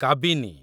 Kabini